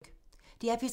DR P3